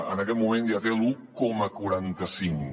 en aquest moment ja té l’un coma quaranta cinc